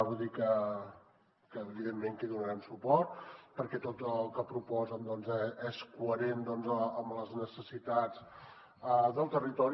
vull dir que evidentment que hi donarem suport perquè tot el que proposen doncs és coherent amb les necessitats del territori